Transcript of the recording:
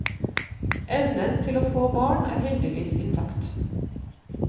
Evnen til å få barn er heldigvis intakt.